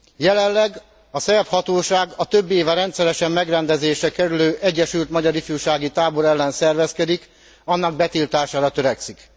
Jelenleg a szerb hatóság a több éve rendszeresen megrendezésre kerülő Egyesült Magyar Ifjúsági Tábor ellen szervezkedik, annak betiltására törekszik.